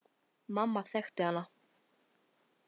Mamma þekkti hana.